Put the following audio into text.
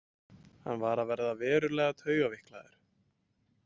Hann var að verða verulega taugaveiklaður.